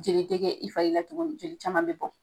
Jeli te kɛ i fari la tuguni joli caman be bɔ.